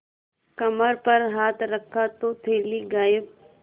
कमर पर हाथ रखा तो थैली गायब